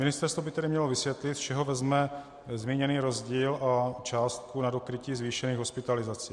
Ministerstvo by tedy mělo vysvětlit, z čeho vezme zmíněný rozdíl o částku na dokrytí zvýšených hospitalizací.